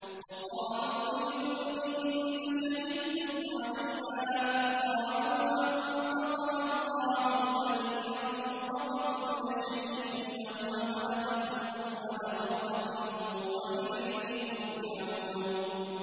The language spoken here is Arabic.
وَقَالُوا لِجُلُودِهِمْ لِمَ شَهِدتُّمْ عَلَيْنَا ۖ قَالُوا أَنطَقَنَا اللَّهُ الَّذِي أَنطَقَ كُلَّ شَيْءٍ وَهُوَ خَلَقَكُمْ أَوَّلَ مَرَّةٍ وَإِلَيْهِ تُرْجَعُونَ